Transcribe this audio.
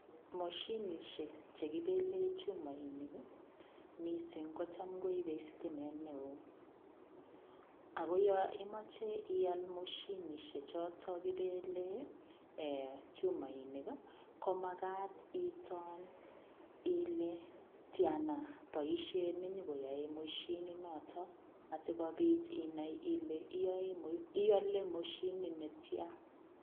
Moshinishek chekibelen chumoishek ii misink kocham koibe sitimet neo ,ako yo imoche ial moshinishechoton kibelee ee chumoinik ii komakat iton ile tiana boishet nenyokoe moshinonoton asikobit inai ile iolen moshinit netian.